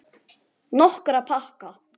Nokkra pakka.